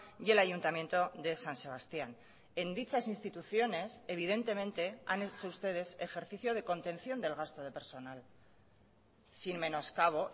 y el ayuntamiento de san sebastián en dichas instituciones evidentemente han hecho ustedes ejercicio de contención del gasto de personal sin menos cabo